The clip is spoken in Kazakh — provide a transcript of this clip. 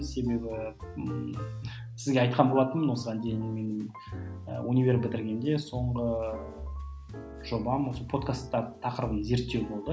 себебі ммм сізге айтқан болатынмын осыған дейін мен і универ бітіргенде соңғы жобам осы подкастар тақырыбын зерттеу болды